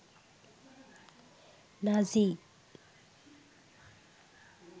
nazi